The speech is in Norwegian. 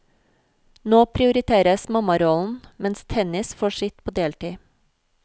Nå prioriteres mammarollen, mens tennis får sitt på deltid.